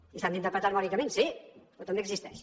i s’han d’interpretar harmònicament sí però també existeix